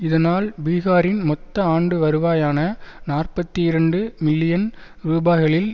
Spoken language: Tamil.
இதனால் பீகாரின் மொத்த ஆண்டு வருவாயான நாற்பத்தி இரண்டு மில்லியன் ரூபாய்களில்